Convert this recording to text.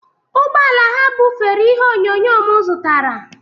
Ụgbọ ala ha bufere ihe onyonyo m zụtara